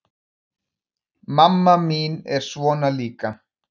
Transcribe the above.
Mamma mín er svona líka.